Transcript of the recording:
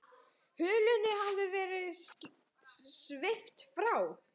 Hulunni hafði verið svipt frá.